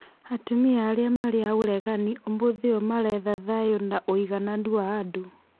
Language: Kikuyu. Atumia arĩa marĩ a ũregani ũmũthĩ ũyũ maretha thayũ na ũigananu wa andũ.